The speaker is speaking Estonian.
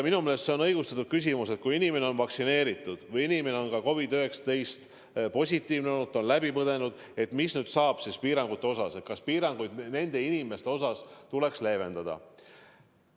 Minu meelest on õigustatud küsimus, et kui inimene on vaktsineeritud või tema COVID-19 test on positiivne olnud, ta on haiguse läbi põdenud, siis mis saab: kas piiranguid nende inimeste suhtes tuleks leevendada.